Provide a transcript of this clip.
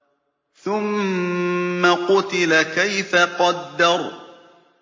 ثُمَّ قُتِلَ كَيْفَ قَدَّرَ